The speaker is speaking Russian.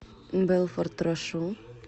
белфорд рошу